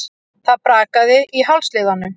Það brakaði í hálsliðunum.